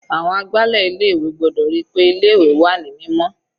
Àwọn agbálẹ̀ ilé ìwé gbọ́dọ̀ ríi pé ilé ìwé wà ní mímọ́.